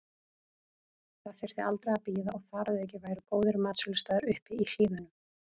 Það þyrfti aldrei að bíða og þar að auki væru góðir matsölustaðir uppi í hlíðunum.